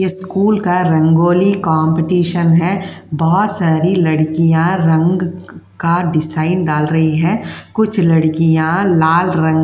School का rangoli competition है। बोहोत सारी लड़कियां रंग क्-का डिसाइन डाल रही हैं। कुछ लड़कियां लाल रंग --